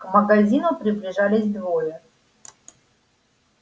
к магазину приближались двое